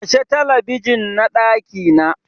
Kashe Talabijin na ɗakina!